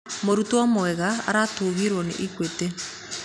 Mũrutwo mwega aratugirwo nĩ Equity